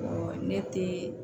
ne te